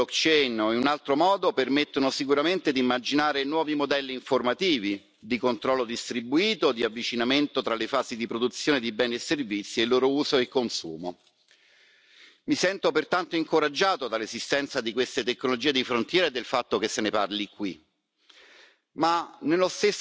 Tecnologie come queste, si chiamino blockchain o in altro modo, permettono sicuramente di immaginare nuovi modelli informativi, di controllo distribuito e di avvicinamento tra le fasi di produzione di beni e servizi e il loro uso e consumo. Mi sento pertanto incoraggiato dall'esistenza di queste tecnologie di frontiera e del fatto che se ne parli qui,